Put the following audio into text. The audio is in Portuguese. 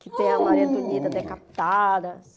que tem a Maria Antonieta decapitada.